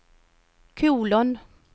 kolon